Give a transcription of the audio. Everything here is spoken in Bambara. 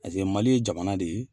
Paseke mali ye jamana de ye